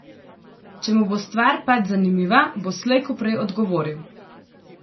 Če mu bo stvar pač zanimiva, bo slej ko prej odgovoril.